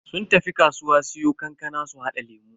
Sun tafi kasuwa siyo kankana su hada lemu.